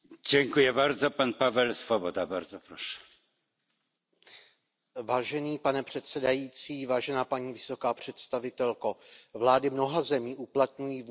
Pane předsedající, vážená paní vysoká představitelko, vlády mnoha zemí uplatňují vůči představitelům opozice postupy, které porušují základní lidská práva.